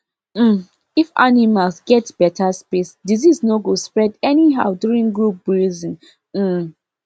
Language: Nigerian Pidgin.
um if animals get better space disease no go spread anyhow during group grazing um